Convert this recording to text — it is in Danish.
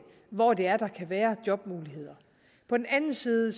hvor der kan være jobmuligheder på den anden side